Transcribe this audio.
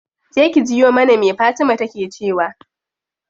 Je ki jiyo mana me fatima take cewa.